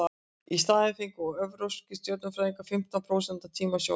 í staðinn fengu evrópskir stjörnufræðingar fimmtán prósent af tíma sjónaukans